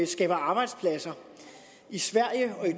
skaber arbejdspladser i sverige